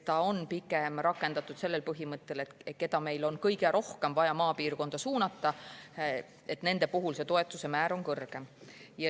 Pigem on seda rakendatud sellel põhimõttel, et neil, keda on kõige rohkem vaja maapiirkonda suunata, on see toetuse määr kõrgem.